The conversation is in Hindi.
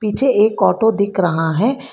मुझे एक ऑटो दिख रहा है।